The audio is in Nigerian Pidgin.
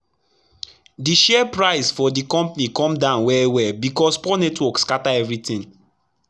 d share price for d compani cum down well well becos poor network scatter everi tin